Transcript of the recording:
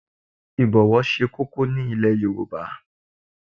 Ibowo se koko ni ile Yoruba